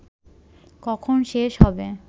কখন শেষ হবে